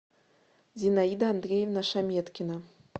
зинаида андреевна шаметкина